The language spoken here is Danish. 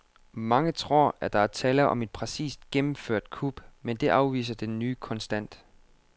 Mange tror, at der var tale om et præcist gennemført kup, men det afviser den nye kontant.